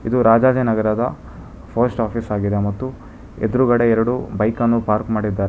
ಒದು ರಾಜಾಜಿನಗರ ದ post office ಆಗಿದೆ ಮತ್ತು ಎದುರುಗಡೆ ಎರಡು ಬೈಕನ್ನು ಪಾರ್ಕ್ ಮಾಡಿದ್ದಾ--